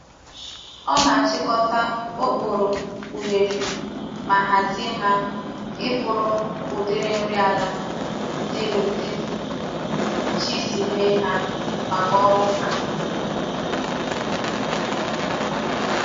O na achikota okporo unere ma hazie ha iburu udiri nri ala di nudi Chi si mee ha maka oru nka.